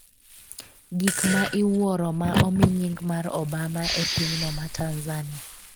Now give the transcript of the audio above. gik ma iwuoro ma omi nying mar Obama e pinyno ma Tanzania